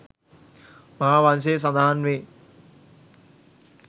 මහා වංශයේ සඳහන් වේ